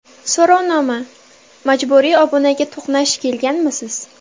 So‘rovnoma: Majburiy obunaga to‘qnash kelganmisiz?